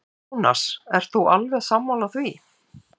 Jónas: Ert þú alveg sammála því?